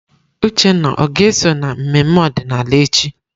Uchenna ọ ga-eso na mmemme ọdịnala echi?